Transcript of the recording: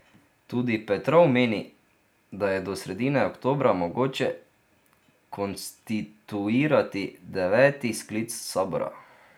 Tudi Petrov meni, da je do sredine oktobra mogoče konstituirati deveti sklic sabora.